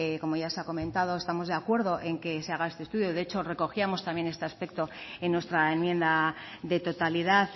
como ya se ha comentado estamos de acuerdo que se haga este estudio de hecho recogíamos también este aspecto en nuestra enmienda de totalidad